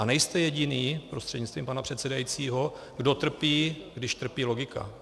A nejste jediný, prostřednictvím pana předsedajícího, kdo trpí, když trpí logika.